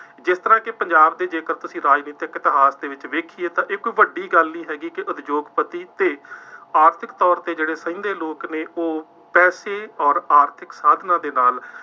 ਜਿਸ ਤਰ੍ਹਾਂ ਕਿ ਪੰਜਾਬ ਦੇ ਜੇਕਰ ਤੁਸੀਂ ਰਾਜਨੀਤਿਕ ਇਤਿਹਾਸ ਦੇ ਵਿੱਚ ਵੇਖੀਏ ਤਾਂ ਇਹ ਕੋਈ ਵੱਡੀ ਗੱਲ ਨਹੀਂ ਹੈਗੀ, ਕਿ ਉਦਯੋਗਪਤੀ ਤੇ ਆਰਥਿਕ ਤੌਰ ਤੇ ਜਿਹੜੇ ਸਹਿੰਦੇ ਲੋਕ ਨੇ, ਉਹ ਪੈਸੇ ਅੋਰ ਆਰਥਿਕ ਸਾਧਨਾਂ ਦੇ ਨਾਲ